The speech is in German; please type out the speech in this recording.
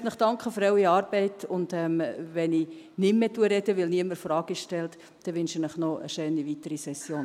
Ich möchte Ihnen danken für Ihre Arbeit, und wenn ich nicht mehr spreche, weil niemand Fragen stellt, wünsche ich Ihnen noch eine schöne weitere Session.